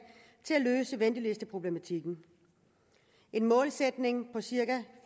til at løse ventelisteproblematikken en målsætning om cirka